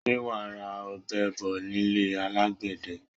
Sé wa ra ọ̀bẹ bo nílé alagbẹ̀dẹ?